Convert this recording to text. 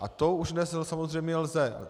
A to už dnes samozřejmě lze.